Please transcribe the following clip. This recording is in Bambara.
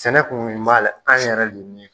Sɛnɛ kun wuli b'a la an yɛrɛ le yɛn